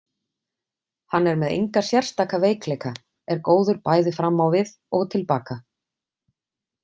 Hann er með enga sérstaka veikleika, er góður bæði fram á við og til baka.